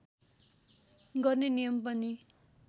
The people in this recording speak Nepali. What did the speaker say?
गर्ने नियम पनि